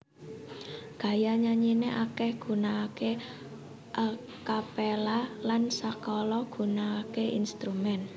Gaya nyanyine akeh gunakake a capella lan sakala gunakake instrumen